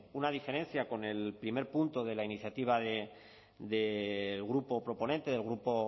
pues una diferencia con el primer punto de la iniciativa del grupo proponente del grupo